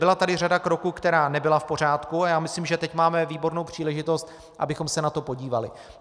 Byla tady řada kroků, která nebyla v pořádku, a já myslím, že teď máme výbornou příležitost, abychom se na to podívali.